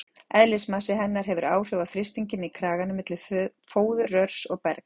Eðlismassi hennar hefur áhrif á þrýstinginn í kraganum milli fóðurrörs og bergs.